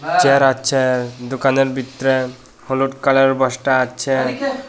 Chair আছে দোকানের বিতরে হলুড কালার বস্তা আছে।